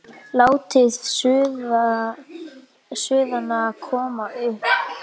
Látið suðuna koma upp.